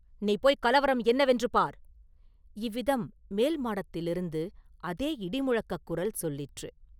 "நீ போய்க் கலவரம் என்னவென்று பார்!” – இவ்விதம் மேல் மாடத்திலிருந்து அதே இடிமுழக்கக் குரல் சொல்லிற்று.